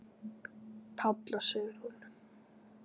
Páll og Sigrún.